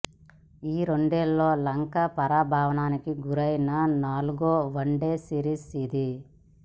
ఈ రెండేళ్లలో లంక పరాభవానికి గురైన నాలుగో వన్డే సిరీస్ ఇది